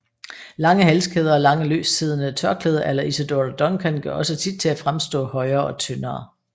Lange halskæder og lange løstsiddende tørklæder à la Isadora Duncan gør også sit til at fremstå højere og tyndere